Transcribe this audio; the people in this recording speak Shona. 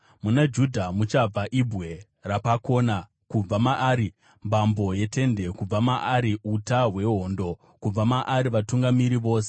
Muna Judha muchabva ibwe rapakona, kubva maari mbambo yetende, kubva maari uta hwehondo, kubva maari vatungamiri vose.